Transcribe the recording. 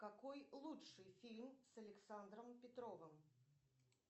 какой лучший фильм с александром петровым